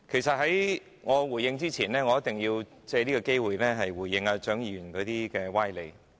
在我就此發言前，我一定要藉此機會回應蔣議員的歪理。